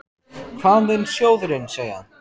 Hvað mun sjóðurinn segja?